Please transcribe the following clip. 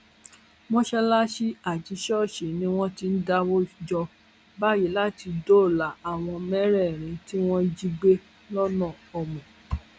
mọṣáláṣí àti ṣọọṣì ni wọn ti ń dáwọ jọ báyìí láti dóòlà àwọn mẹrẹẹrin tí wọn jí gbé lọnà òmu